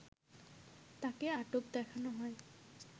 তাকে আটক দেখানো হয়